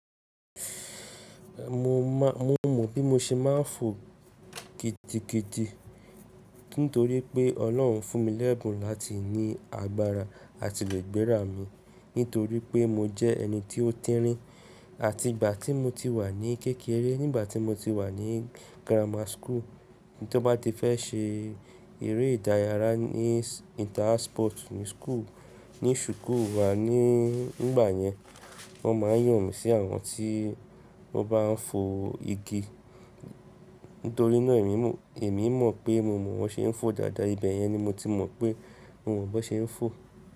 Mo mọ̀ bí mo ṣe ma ń fò kiti kiti nítorí pé ọlọ́hun fún mi lẹ́bùn láti ní agbára àti rẹgbẹra mi nítorí pé mo jẹ́ ẹni tí ó tínrín àti ìgbà tí mo ti wà ní kékeré, nígbà tí mo ti wà ní grammar school, tí ó bá ti fẹ́ ṣe eré idayara ní inter house sports ní school, ní suku wa ní ìgbà yẹn wọ́n ma ń yàn mí sí àwọn tí ó bá ń fò igi nítorí ina ẹmi mo, ẹmi mo pé mo mọ̀ wọ́n ṣe ń fò dáda, ibẹ̀ yẹn ni mo ti mọ̀ pé mo mọ̀ bí wọ́n ṣe ń fò.